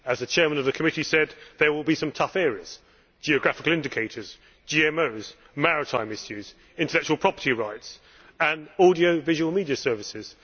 As the Chair of the committee said, there will be some tough areas geographical indicators, GMOs, maritime issues, intellectual property rights and audio visual media services.